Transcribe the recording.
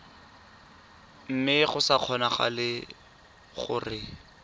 mme go sa kgonagale gore